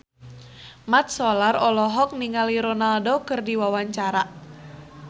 Mat Solar olohok ningali Ronaldo keur diwawancara